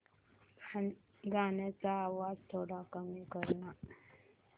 गाण्याचा आवाज थोडा कमी कर ना